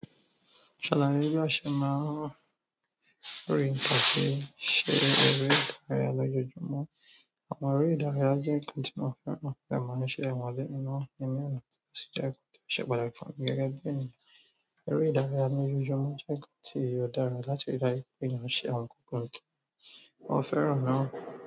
Ṣàlàyé bí a ṣe máa ń rí pàṣẹ ṣe eré ìdárayá lójoojúmọ́. Àwọn eré ìdárayá jẹ́ nǹkan tí mo fẹ́ràn pẹ̀lú máa ń ṣe àwọn n lé inú mi ní ọ̀nà tó ṣe pàtàkì. Gẹ́gẹ́ bí ènìyàn, eré ìdárayá lójoojúmọ́ jẹ́ nǹkan tí ó dára láti ríi dájú pé mò ń ṣe àwọn nǹkan tí mo fẹ́ràn náà.